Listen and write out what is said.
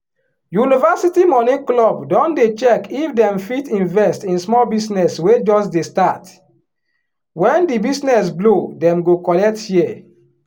university money club don dey check if dem fit invest in small business wey just dey start wen di business blow dem go collect share.